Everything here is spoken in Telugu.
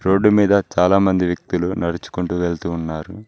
రోడ్డు మీద చాలా మంది వ్యక్తులు నడుచుకుంటూ వెళ్తూ ఉన్నారు.